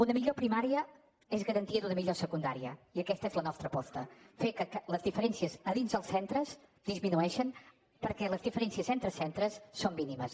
una millor primària és garantia d’una millor secundària i aquesta és la nostra aposta fer que les diferències a dins els centres disminueixin perquè les diferències entre centres són mínimes